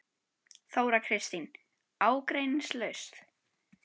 Þóra Kristín: Ágreiningslaust?